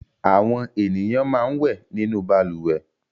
Àwọn ènìyàn máa ń wẹ̀ nínú balùwẹ̀.